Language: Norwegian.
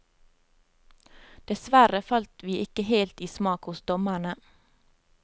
Dessverre falt vi ikke helt i smak hos dommerne.